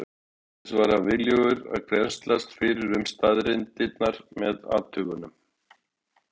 Auk þess var hann viljugur að grennslast fyrir um staðreyndirnar með athugunum.